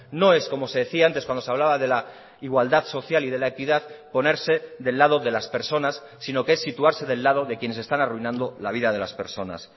no es como se decía antes cuando se hablaba de la igualdad social y de la equidad ponerse del lado de las personas sino que es situarse del lado de quienes están arruinando la vida de las personas